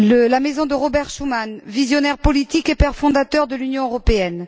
La maison de Robert Schuman, visionnaire politique et père fondateur de l'Union européenne.